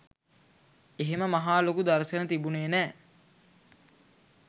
එහෙම මහා ලොකු දර්ශන තිබුණේ නෑ.